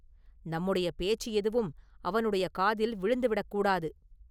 நம்முடைய பேச்சு எதுவும் அவனுடைய காதில் விழுந்து விடக் கூடாது.